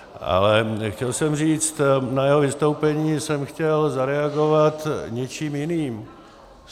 Ale chtěl jsem říct, na jeho vystoupení jsem chtěl zareagovat něčím jiným.